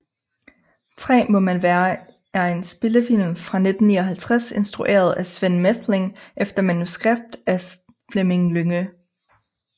3 må man være er en spillefilm fra 1959 instrueret af Sven Methling efter manuskript af Fleming Lynge